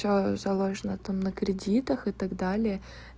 то заложена там на кредитах и так далее